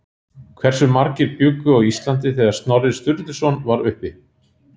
Hversu margir bjuggu á Íslandi þegar Snorri Sturluson var uppi?